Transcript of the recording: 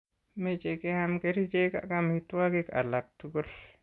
Meche keam kerichek ak amitwogik alak tugul.